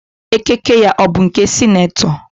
Ekike ya ọ bụ nke ndị senetọ?